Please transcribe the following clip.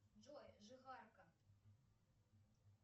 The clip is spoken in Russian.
джой жихарка